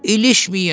İlişməyin.